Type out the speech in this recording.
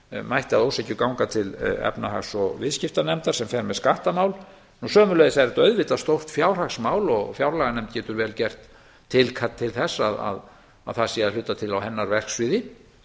mætti að ósekju ganga til efnahags og viðskiptanefndar sem fer með skattamál sömuleiðis er þetta auðvitað stórt fjárhagsmál og fjárlaganefnd getur vel gert tilkall til þess að það sé að hluta til að hennar verksviði